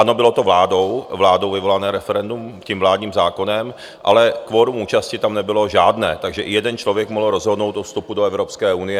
Ano, bylo to vládou vyvolané referendum, tím vládním zákonem, ale kvorum účasti tam nebylo žádné, takže i jeden člověk mohl rozhodnout o vstupu do Evropské unie.